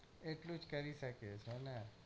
એટલું જ કરી શકે છે ને